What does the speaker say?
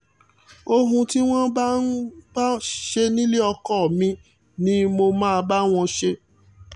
ohun tí wọ́n bá wọ́n bá ń ṣe nílé ọkọ mi ni mo máa bá wọn ṣe